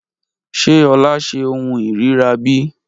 Ṣe Ola se ohun ìríra bí?